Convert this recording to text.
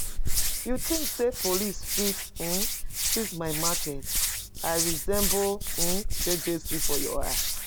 You think say police fit um seize my market? I I resemble um JJC for your eye?